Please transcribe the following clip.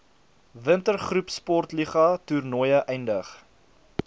wintergroepsportliga toernooie eindig